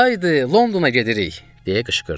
Haydı, Londona gedirik, deyə qışqırdı.